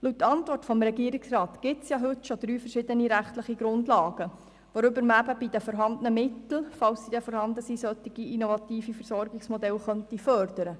Laut Antwort des Regierungsrats gibt es schon heute drei verschiedene rechtliche Grundlagen, um mit den vorhandenen Mitteln, so sie denn vorhanden sind, solche innovative Versorgungsmodelle zu fördern.